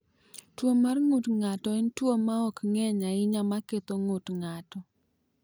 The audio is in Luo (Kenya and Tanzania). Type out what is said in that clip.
Tuwo mar ng’ut ng’ato en tuwo ma ok ng’eny ahinya ma ketho ng’ut ng’ato.